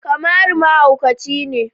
Kamaru mahauci ne